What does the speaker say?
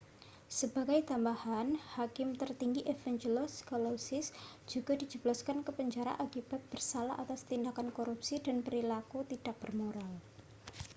sebagai tambahan hakim tertinggi evangelos kalousis juga dijebloskan ke penjara akibat bersalah atas tindakan korupsi dan perilaku tidak bermoral